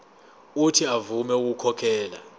uuthi avume ukukhokhela